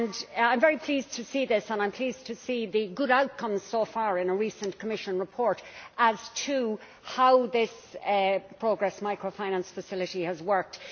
I am very pleased to see this and to see the good outcomes so far in a recent Commission report as to how this Progress Microfinance Facility has worked.